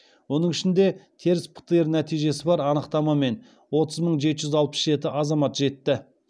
оның ішінде теріс птр нәтижесі бар анықтамамен отыз мың жеті жүз алпыс жеті азамат жетті